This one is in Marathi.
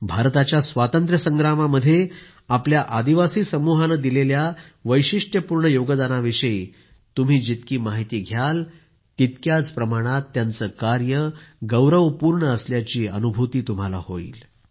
भारताच्या स्वातंत्र्य संग्रामामध्ये आपल्या आदिवासी समूहाने दिलेल्या वैशिष्टपूर्ण योगदानाविषयी तुम्ही जितकी माहिती घ्याल तितक्याच प्रमाणात त्यांचे कार्य गौरवपूर्ण असल्याची अनुभूती तुम्हाला होईल